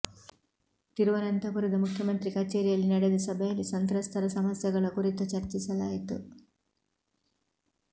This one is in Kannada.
ತಿರುವನಂತಪುರದ ಮುಖ್ಯಮಂತ್ರಿ ಕಚೇರಿಯಲ್ಲಿ ನಡೆದ ಸಭೆಯಲ್ಲಿ ಸಂತ್ರಸ್ತರ ಸಮಸ್ಯೆಗಳ ಕುರಿತು ಚರ್ಚಿಸಲಾಯಿತು